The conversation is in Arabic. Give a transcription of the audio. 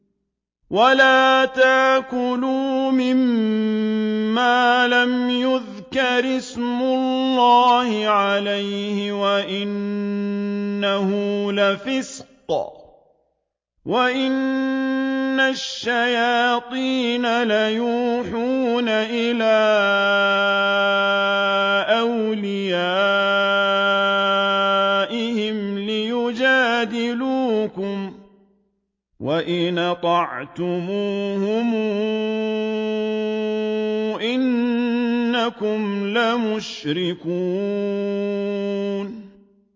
وَلَا تَأْكُلُوا مِمَّا لَمْ يُذْكَرِ اسْمُ اللَّهِ عَلَيْهِ وَإِنَّهُ لَفِسْقٌ ۗ وَإِنَّ الشَّيَاطِينَ لَيُوحُونَ إِلَىٰ أَوْلِيَائِهِمْ لِيُجَادِلُوكُمْ ۖ وَإِنْ أَطَعْتُمُوهُمْ إِنَّكُمْ لَمُشْرِكُونَ